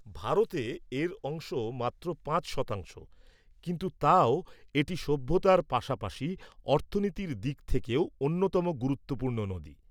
ভারতে এর অংশ মাত্র পাঁচ শতাংশ, কিন্তু তাও এটি সভ্যতার পাশাপাশি অর্থনীতির দিক থেকেও অন্যতম গুরুত্বপূর্ণ নদী।